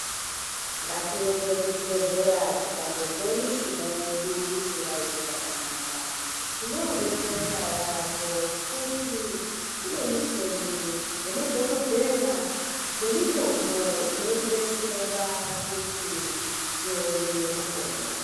Ngatiende kuchibhedhlera tikazwa mishuna yedu isingaiti zvakanaka tinodetsereka yambo ngekuti kune michini nemadhokoteya nemitombo inotidetsera kuti tione kupona.